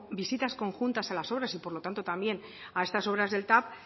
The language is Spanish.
visitas conjuntas a las obras y por lo tanto también a estas obras del tav